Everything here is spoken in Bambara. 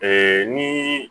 Ee ni